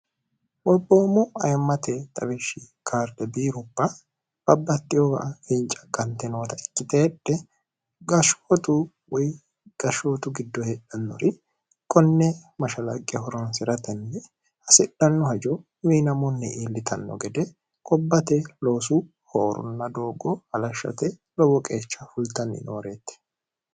borboommo ayimmate xawishshi kaarde biirupa babbattihowa hinca qante noota ikkitehedhe gashshootu woy gashshootu giddo hedhannori qonne mashalaqe horonsi'ratenni hasidhanno hajo miinamunni iillitanno gede qobbate loosu hoorunna doogo alashshate lowo qeecha fultanni nooreeti